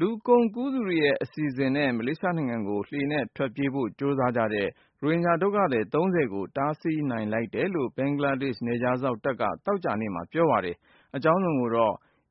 လူကုန်ကူးသူတွေရဲ့ အစီအစဉ်နဲ့ မလေးရှားနိုင်ငံကို လှေနဲ့ထွက်ပြေးဖို့ ကြိုးစားတဲ့ ရိုဟင်ဂျာဒုက္ခသည် (၃၀) ကို တားဆီးနိုင်လိုက်တယ်လို့ ဘင်္ဂလားဒေ့ရှ်နယ်ခြားစောင့် တပ်က သောကြာနေ့မှာပြောပါတယ်။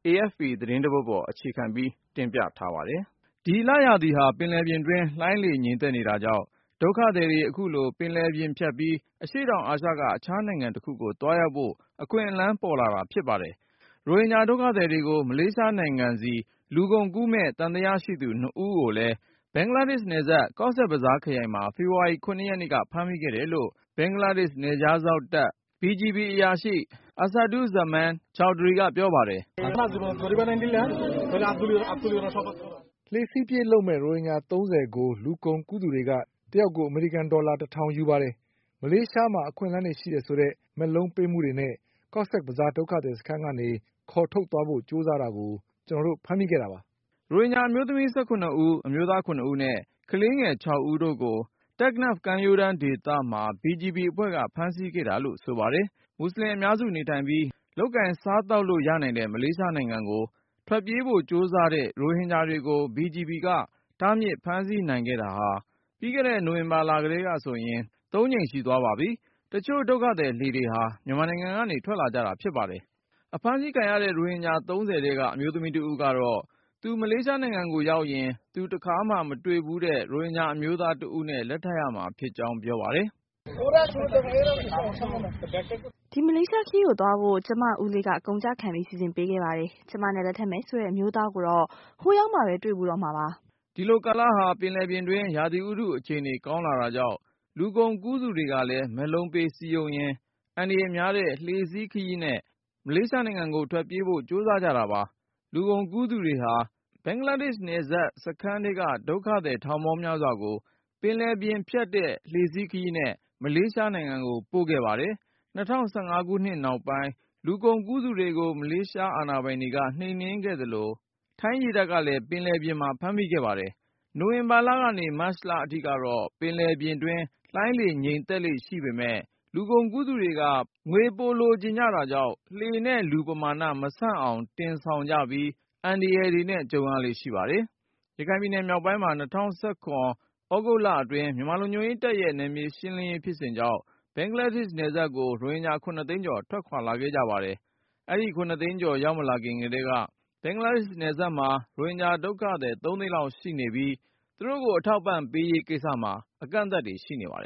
AFP သတင်းတပုဒ်ကို အခြေခံပြီး ကိုဉာဏ်ဝင်းအောင်က အကြောင်းစုံ တင်ပြပေးထားပါတယ်။ ဒီလရာသီဟာ ပင်လယ်ပြင်တွင်း လှိုင်းလေ ငြိမ်သက်နေတာကြောင့် ဒုက္ခသည်တွေ အခုလို ပင်လယ်ပြင်ဖြတ်ပြီး အရှေ့တောင်အာရှက အခြား နိုင်ငံတခုကို သွားရောက်ဖို့ အခွင့်အလမ်းပေါ်လာတာ ဖြစ်ပါတယ်။ ဒုက္ခသည်တွေကို မလေးရှားနိုင်ငံဆီ လူကုန်ကူးမယ့် သံသယရှိသူ ၂ ဦး ကိုလည်း ဘင်္ဂလားဒေ့ရှ်နယ်စပ် ကော့ဆက်ဘဇား ခရိုင်မှာ ဖေဖေါ်ဝါရီ ၇-ရက်နေ့က ဖမ်းမိခဲ့တယ်လို့ ဘင်္ဂလားဒေ့ရှ်နယ်ခြားစောင့်တပ် BGB အရာရှိ Asadud Zaman Chowdhury ကပြောပါတယ်။ “လှေစီးပြေးလုပ်မယ့် ရိုဟင်ဂျာ ၃၀ ကို လူကုန်ကူးသူတွေက တယောက်ကို အမေရိကန် ဒေါ်လာ (၁၀၀၀) ယူ ပါတယ်။ မလေးရှားမှာ အခွင့်အလမ်းတွေ ရှိမယ်ဆိုတဲ့ မက်လုံး ပေးမှုတွေနဲ့ ကော့ဆက်ဘဇား ဒုက္ခသည်စခန်း ကနေ ခေါ်ထုတ်သွားဖို့ ကြိုးစားတာကို ကျနော်တို့ ဖမ်းမိခဲ့တာပါ။” ရိုဟင်ဂျာ အမျိုးသမီး ၁၇-ဦး ၊ အမျိုးသား ၇ဦးနဲ့ ကလေးငယ် ၆ဦးတို့ကို Teknaf ကမ်း ရိုးဒေသမှာ BGB အဖွဲ့က ဖမ်းဆီးမိခဲ့တာလို့ ဆိုပါတယ်။ Teknaf မြို့ဟာ မြန်မာနဲ့ ဘင်္ဂလား နှစ်နိုင်ငံကြားမှာ ရှိပါတယ်။ မူဆလင်အများစု နေထိုင်ပြီး လုပ်ကိုင် စားသောက်လို့ ရနိုင်တဲ့ မလေးရှား နိုင်ငံကို ထွက်ပြေးဖို့ကြိုးစားတဲ့ ရိုဟင်ဂျာတွေကို BGB က တားမြစ်ဖမ်းဆီးနိုင်ခဲ့တာဟာ ပြီးခဲ့တဲ့ နိုဝင်ဘာ လကတည်းကဆိုရင် ၃ ကြိမ် ရှိသွားပါပြီ။ တချို့ ဒုက္ခသည်လှေတွေဟာ မြန်မာနိုင်ငံကနေ ထွက်လာကြတာဖြစ်ပါတယ်။ အဖမ်းဆီးခံရတဲ့ ရိုဟင်ဂျာ ၃၀ ထဲက အမျိုးသမီးတဦးကတော့ သူ မလေးရှားကိုရောက်ရင် သူတခါမှ မတွေ့ဘူးတဲ့ ရိုဟင်ဂျာအမျိုးသားတဦးကို လက်ထပ်ရမှာဖြစ်ကြောင်း ပြောပါတယ်။ “ဒီ မလေးရှားခရီးကိုသွားဖို့ ကျမ ဦးလေးက အကုန်ကျခံပြီး စီစဉ်ပေးခဲ့ပါတယ်။ ကျမနဲ့ လက်ထက်မယ်ဆိုတဲ့ အမျိုးသားကိုတော့ ဟိုရောက်မှပဲ တွေ့ဖူးတော့မှာပါ။” ဒီလိုကာလဟာ ပင်လယ်ပြင်တွင်း ရာသီဥတုအခြေနေ ကောင်းလာတာကြောင့် လူကုန် ကူးသူတွေကလည်း မက်လုံးပေး စည်းရုံးရင်း အန္တရာယ်များတဲ့ လှေစီးခရီးနဲ့ မလေးရှား နိုင်ငံကို ထွက်ပြေးဖို့ကြိုးစားကြ တာပါ။ လူကုန်ကူးသူတွေဟာ ဘင်္ဂလားနယ်စပ် စခန်း ထဲက ဒုက္ခသည် ထောင်ပေါင်းများစွာကို ပင်လယ်ပြင် ဖြတ်တဲ့ လှေစီးခရီးနဲ့ မလေးရှားကို ပို့ခဲ့ပါတယ်။ ၂၀၁၅ ခုနှစ်နောက်ပိုင်း လူကုန်ကူးသူတွေကို ဘင်္ဂလားဒေ့ရှ် အာဏာပိုင် တွေက နှိပ်နင်းခဲ့သလို ထိုင်းရေတပ်ကလည်း ဖမ်းမိခဲ့ပါတယ်။ နိုဝင်ဘာ ကနေ မတ်လ အထိ ပင်လယ်ပြင်တွင်း လှိုင်းလေငြိမ်သက်လေ့ ရှိပေမယ့် ပင်လယ်ခရီးကို စွန့်စား သွားကြတာပါ။ လူကုန်ကူးသူတွေက ငွေပိုရ လိုတာကြောင့် လှေနဲ့လူပမာန မဆန့်အောင် တင်ဆောင်တာကြောင့် အန္တရာယ်တွေနဲ့ ကြုံရလေ့ရှိပါတယ်။ ရခိုင်ပြည်နယ်မြောက်ပိုင်းမှာ ၂၀၁၇ သြဂုတ်လအတွင်း မြန်မာလုံခြုံရေးတပ် တွေရဲ့ နယ်မြေ ရှင်းလင်းရေး ဖြစ်စဉ် အတွင်း ဘင်္ဂလားဒေ့ရှ်နယ်စပ်ကို ရိုဟင်ဂျာ ၇ သိန်းကျော် ထွက်ခွာ လာခဲ့ကြပါတယ်။ အဆိုပါ ၇ သိန်း ကျော် ရောက်မလာခင်က ဘင်္ဂလားနယ်စပ်မှာ ရိုဟင်ဂျာဒုက္ခသည် ၃ သိန်းလောက် ရှိနေပြီးသားဖြစ်ပြီး သူတို့ကိုထောက်ပံ့ရေးမှာ အကန့်အသတ် တွေရှိနေပါတယ်